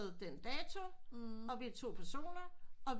Den dato og vi er to personer og